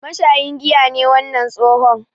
Mashayin giya ne wannan tsohon.